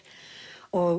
og